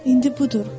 İndi budur.